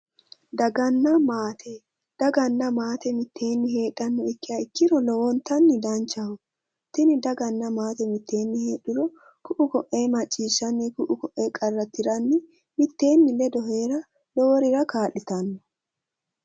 Daganna maate daganna maate mitteenni heedhannoha ikkiha ikkiro lowontanni danchaho tini daganna maate mitteenni heedhuro ku'u ko'ee macciishshanni ku'u ku'uyi qarra tiranni mitteenni ledo heera loworira kaa'litanno